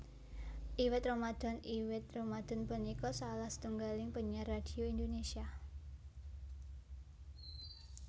Iwet Ramadhan Iwet Ramadhan punika salah setunggaling penyiar radhio Indonésia